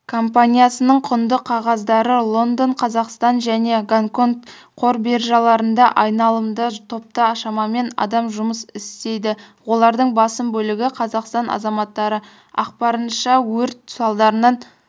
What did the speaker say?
компаниясыныңқұндықағаздарылондон қазақстанжәнегонконгқорбиржаларында айналымда топта шамамен адам жұмыс істейді олардың басым бөлігі қазақстан азаматтары ақпарынша өрт салдарынан